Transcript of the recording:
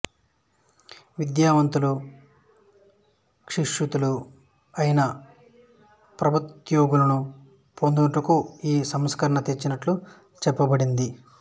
విద్యావంతులు శిక్షితులు అయిన ప్రభుత్యోగులను పొందేటందుకు ఈ సంస్కరణ తెచ్చినట్లు చెప్పబడినది